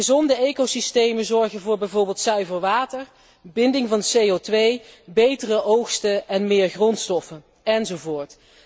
Gezonde ecosystemen zorgen voor bijvoorbeeld zuiver water, binding van CO 2 betere oogsten en meer grondstoffen, enzovoort.